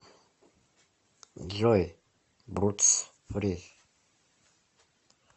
джой брудс фри